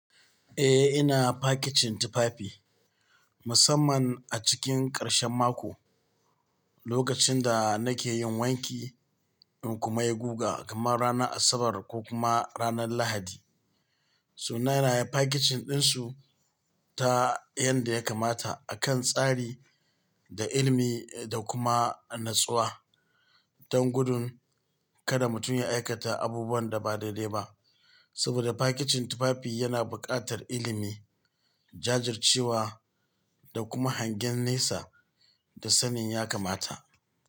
Eh ina fakicin tufafi musamman a cikin karshen mako lokacin da nake yin wanki in kuma ya guga kamar ranar Asabar ko kuma ranar Lahadi. Su na yana yi fakicin ɗinsu ta yadda ya kamata a kan tsari da ilimi da kuma natsuwa don gudun kada mutum ya aikata abubuwan da ba daidai ba. Saboda fakicin tufafi yana buƙatar ilimi, jajircewa da kuma hangen nesa da sanin ya kamata.